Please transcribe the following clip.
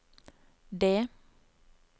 det